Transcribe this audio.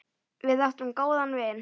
Við áttum góðan vin.